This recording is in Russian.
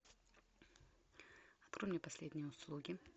открой мне последние услуги